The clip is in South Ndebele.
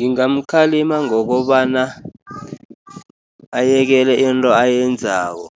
Ngingamkhalima ngokobana ayekele into ayenzako,